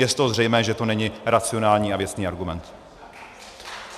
Je z toho zřejmé, že to není racionální a věcný argument.